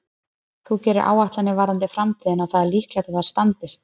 Þú gerir áætlanir varðandi framtíðina og það er líklegt að þær standist.